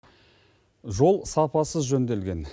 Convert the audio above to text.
жол сапасыз жөнделген